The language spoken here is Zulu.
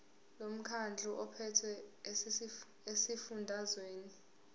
lomkhandlu ophethe esifundazweni